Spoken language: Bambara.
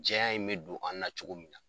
Jɛya in mɛ don, an na cogo min na.